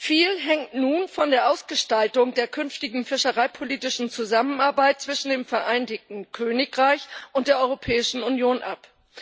Viel hängt nun von der Ausgestaltung der künftigen fischereipolitischen Zusammenarbeit zwischen dem Vereinigten Königreich und der Europäischen Union ab.